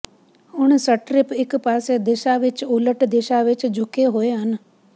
ਹੁਣ ਸਟਰਿਪ ਇੱਕ ਪਾਸੇ ਦਿਸ਼ਾ ਵਿੱਚ ਉਲਟ ਦਿਸ਼ਾ ਵਿੱਚ ਝੁਕੇ ਹੋਏ ਹਨ